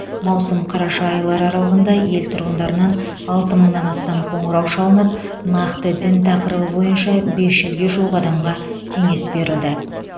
маусым қараша айлары аралығында ел тұрғындарынан алты мыңнан астам қоңырау шалынып нақты дін тақырыбы бойынша бес жүзге жуық адамға кеңес берілді